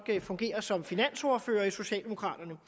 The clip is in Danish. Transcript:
fungerer som finansordfører i socialdemokraterne